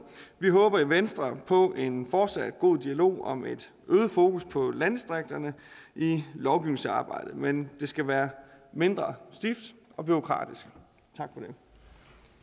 vi håber i venstre på en fortsat god dialog om et øget fokus på landdistrikterne i lovgivningsarbejdet men det skal være mindre stift og bureaukratisk